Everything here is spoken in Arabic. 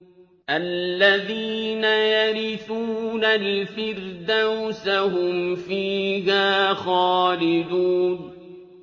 الَّذِينَ يَرِثُونَ الْفِرْدَوْسَ هُمْ فِيهَا خَالِدُونَ